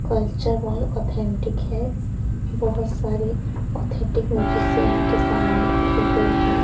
Culture hall authentic है बहोत सारे ऑथेंटिक म्यूजिशियन के समान रखे हुएं हैं।